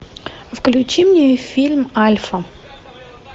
включи мне фильм альфа